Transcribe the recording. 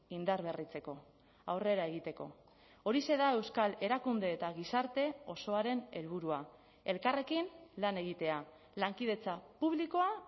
indarberritzeko aurrera egiteko horixe da euskal erakunde eta gizarte osoaren helburua elkarrekin lan egitea lankidetza publikoa